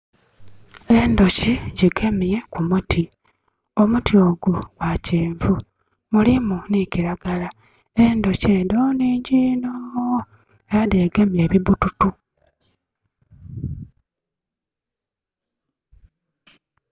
Endhoki dhigemye ku muti. Omuti ogwo gwa kyenvu. Mulimu ni kiragala. Endhoki edho nhingyi inho. Era dhegemye ebibbututu.